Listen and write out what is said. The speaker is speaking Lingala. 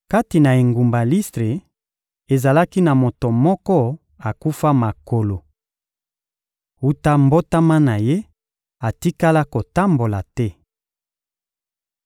Kati na engumba Listre, ezalaki na moto moko akufa makolo. Wuta mbotama na ye, atikala kotambola te.